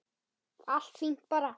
Allt fínt bara.